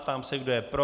Ptám se, kdo je pro.